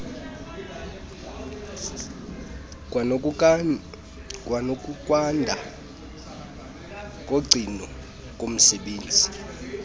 kwanokunqanda ukugcinwa komsebenzi